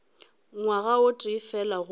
ngwaga o tee fela gomme